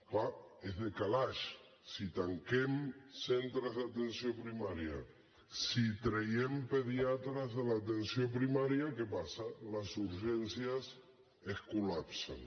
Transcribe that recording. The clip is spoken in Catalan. és clar és de calaix si tanquem centres d’atenció primària si traiem pediatres de l’atenció primària què passa les urgències es col·lapsen